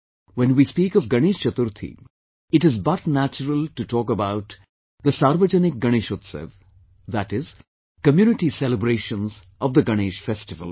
When we speak of Ganesh Chaturthi, it is but natural to talk about Sarvajanik Ganeshotsav, that is, community celebrations of the Ganesh Festival